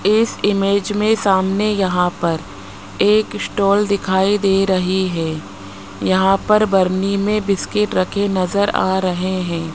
इस इमेज में सामने यहां पर एक स्टॉल दिखाई दे रही है यहां पर बरनी में बिस्किट रखे नजर आ रहे हैं।